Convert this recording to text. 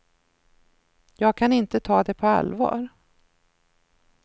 Jag kan inte ta det på allvar.